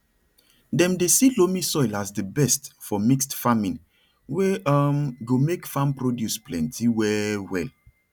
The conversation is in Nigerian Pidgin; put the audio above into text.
dem dey see loamy soil as di best for mixed farming wey um go make farm produce plenty well well